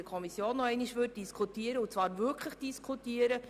Wer diesen annehmen will, stimmt Ja, wer diesen ablehnt, stimmt Nein.